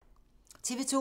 TV 2